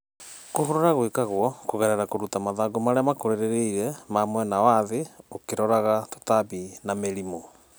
kũhũrũra gũĩkagũo kũgerera kũrũta mathangũ marĩa makũrĩrĩĩre ma mwena wa thĩ ũkĩroraga tũtambĩ na mĩrĩmũ